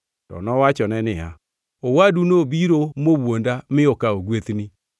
To nowachone niya, “Owadu nobiro mowuonda mi okawo gwethni.”